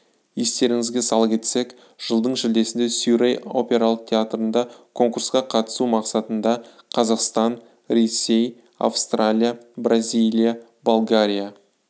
естеріңізге сала кетсек жылдың шілдесінде сюрей опералық театрында конкурсқа қатысу мақсатында қазақстан ресей австралия бразилия болгария